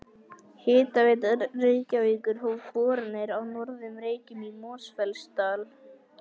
Hitaveita Reykjavíkur hóf boranir á Norður Reykjum í Mosfellsdal.